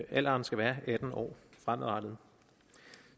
alderen skal være atten år fremadrettet